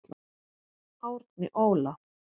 Árni Óla.